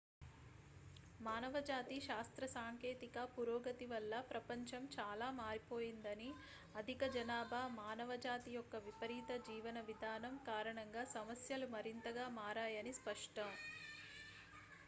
మానవజాతి శాస్త్రసాంకేతిక పురోగతి వల్ల ప్రపంచం చాలా మారిపోయిందని అధిక జనాభా మానవజాతి యొక్క విపరీత జీవన విధానం కారణంగా సమస్యలు మరింత గా మారాయని స్పష్టం